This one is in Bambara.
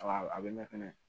Wala a bɛ mɛn fɛnɛ